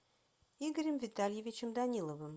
игорем витальевичем даниловым